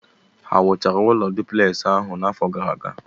Ha wuchara ụlọ dupleksi ahụ n'afọ gara aga?